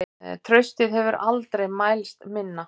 Traustið hefur aldrei mælst minna.